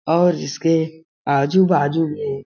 और इसके आजु-बाजु में --